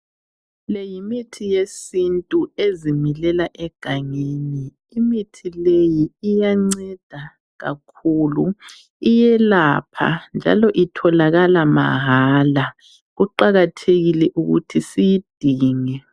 Le yimithi yesintu ezimilela egangeni. Imithi leyi iyanceda kakhulu, iyelapha njalo itholakala mahala. Kuqakathekile ukuthi siyidinge.